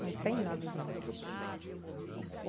Não tem nada de roça.